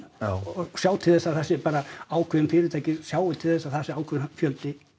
og sjá til þess að það sé bara ákveðin fyrirtæki sjái til þess að það sé ákveðinn fjöldi